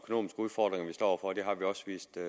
vist at